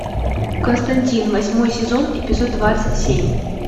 константин восьмой сезон эпизод двадцать семь